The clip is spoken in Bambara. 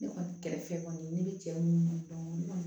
Ne kɔni kɛrɛfɛ kɔni ne bɛ cɛ munnu dɔn